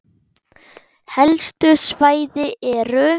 Helstu svæði eru